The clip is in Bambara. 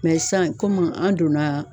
sisan kɔmi an donna